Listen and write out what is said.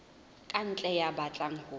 ka ntle ya batlang ho